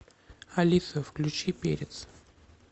алиса включи перец